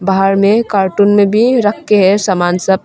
बाहर में कार्टून में भी रख के है सामान सब।